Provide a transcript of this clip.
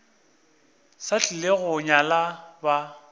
sa tlile go nyala ba